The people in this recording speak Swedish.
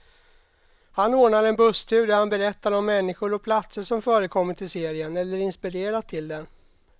Han ordnar en busstur där han berättar om människor och platser som förekommit i serien, eller inspirerat till den.